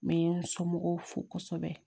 N bɛ n somɔgɔw fo kosɛbɛ